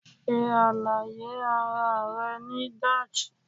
se alaye ara re ni Dutch